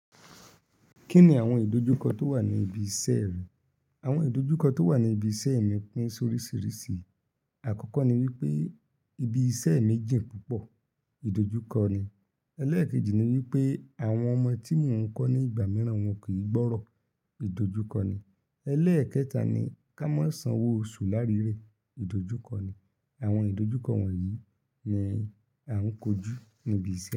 Kí ni àwọn ìdojúkọ tó wà ní ibi iṣẹ́ rẹ? Àwọn ìdojúkọ tó wà ní ibi iṣẹ́ mi pín sóríṣírisíi. Àkọ́kọ́ ni wípé ibi iṣẹ́ mi jìn púpọ̀, ìdojúkọ ni. Eléèkejì ni wípé àwọn ọmọ tí mò ń kọ́ ní ìgbà mìíràn wọn kì í gbọ́rọ̀, ìdojúkọ ni. Ẹlẹẹkẹta ni ka mọ sán owó oṣù lárírè, idójúkọ́ ní àwọn ìdojúkọ wọ̀nyí ni à ń kojú níbi iṣẹ́.